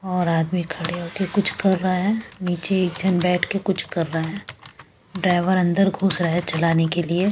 और आदमी खड़े हो के कुछ कर रहे हैं नीचे एक जन बैठ के कुछ कर रहे हैं ड्राइवर अंदर घुस रहा है चलाने के लिए।